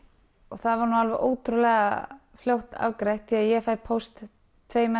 það var alveg ótrúlega fljótt afgreitt því ég fæ póst tveimur